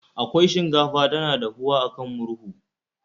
Akwai shinkafa tana dahuwa a kan murhu